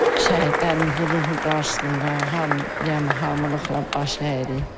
Şəhidlərimizin ruhu qarşısında hamı, yəni hamılıqla baş əyirik.